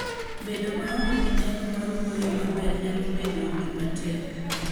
Bedo maonge gi nyalo mar wuoyo maber nyalo bedo gima tek.